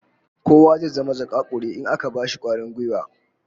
Kowa zai zama zakakuri in aka bashi kwarin gwiwa